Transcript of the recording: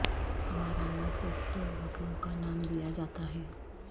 سمارا میں صرف دو ہوٹلوں کا نام دیا جاتا ہے